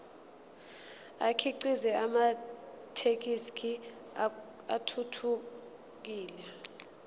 akhiqize amathekisthi athuthukile